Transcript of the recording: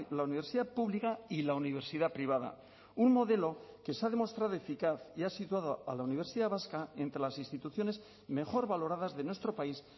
la universidad pública y la universidad privada un modelo que se ha demostrado eficaz y ha situado a la universidad vasca entre las instituciones mejor valoradas de nuestro país